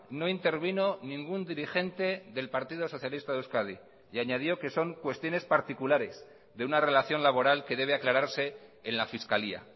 no intervino ningún dirigente del partido socialista de euskadi y añadió que son cuestiones particulares de una relación laboral que debe aclararse en la fiscalía